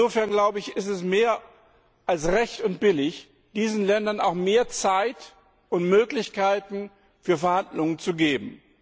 Insofern ist es mehr als recht und billig, diesen Ländern auch mehr Zeit und Möglichkeiten für Verhandlungen zu geben.